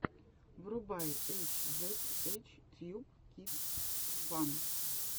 врубай эйч зед эйч тьюб кидс фан